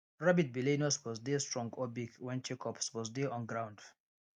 rabbit belle no suppose dey strong or big when check up suppose dey on ground